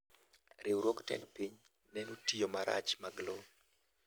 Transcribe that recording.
Riwruog tend piny neno tiyo marach mag lowo.